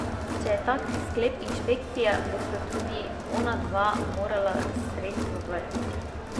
Če je tak sklep inšpekcije, bosta tudi ona dva morala sredstva vrniti.